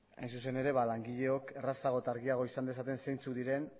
hain zuzen ere langileok errazago eta argiago izan dezaten zeintzuk diren